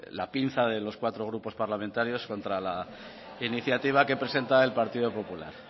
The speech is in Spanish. la pinza de los cuatro grupos parlamentarios contra la iniciativa que presenta el partido popular